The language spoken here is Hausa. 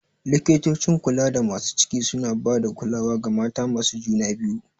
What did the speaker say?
Likitocin kulada masu ciki suna ba da kulawa ga mata masu juna biyu.